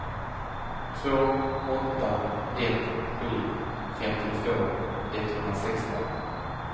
två åtta ett sju femtiotvå etthundrasexton